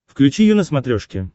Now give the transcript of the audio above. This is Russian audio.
включи ю на смотрешке